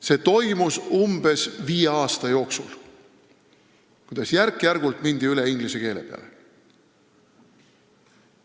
See toimus umbes viie aasta jooksul, järk-järgult mindi üle inglise keele peale.